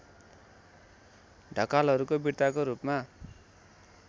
ढकालहरूको विर्ताको रूपमा